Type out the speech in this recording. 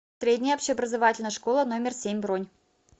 средняя общеобразовательная школа номер семь бронь